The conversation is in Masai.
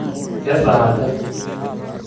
kesaaja ?